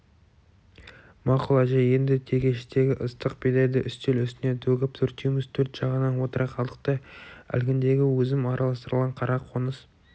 мақұл әже енді тегештегі ыстық бидайды үстел үстіне төгіп төртеуміз төрт жағынан отыра қалдық та әлгіндегі өзім араластырған қара қоңыз